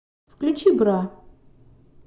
включи бра